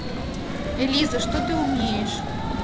элиза что ты умеешь